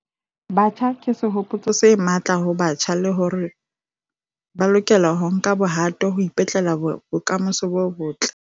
Batjha ke sehopotso se matla ho batjha le hore ba lokela ho nka bohato ho ipetlela bokamoso bo botle.